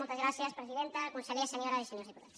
moltes gràcies presidenta consellers senyores i senyors diputats